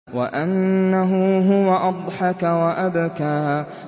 وَأَنَّهُ هُوَ أَضْحَكَ وَأَبْكَىٰ